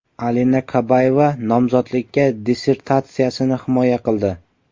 Alina Kabayeva nomzodlik dissertatsiyasini himoya qildi.